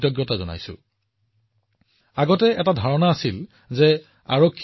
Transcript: আজি দেশৰ কন্যাসকলে তেওঁলোকৰ সকলো শক্তি আৰু সাহসেৰে আটাইতকৈ কঠিন কৰ্তব্য পালন কৰি আছে